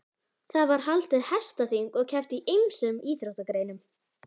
Það var haldið hestaþing og keppt í ýmsum íþróttagreinum.